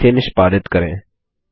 और इसे निष्पादित करें